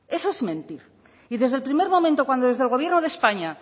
eso es mentir y desde el primer momento cuando desde el gobierno de españa